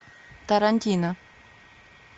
тарантино